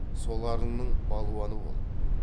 соларыңның балуаны бол